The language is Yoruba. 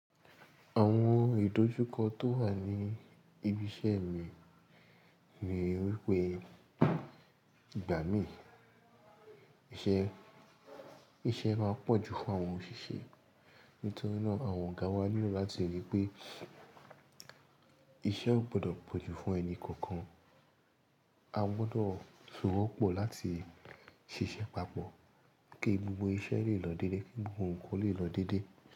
Àwọn ìdójúkọ tó wà ní ibi iṣẹ́ mi ni wípé ìgbà mí iṣẹ́, iṣẹ́ máa pọ̀ ju fún àwọn òṣìṣẹ́. Nítorí náà àwọn ọ̀gá wa nílò láti ríi pé iṣẹ́ ò gbọdọ̀ pọ̀ ju fún ẹni kankan. A gbọdọ̀ ṣòwò pọ̀ láti ṣiṣẹ́ papọ̀ kí gbogbo iṣẹ́ lè lọ dédé, kí gbogbo nǹkan lè lọ dédé.